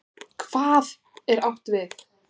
HVAÐ er átt við?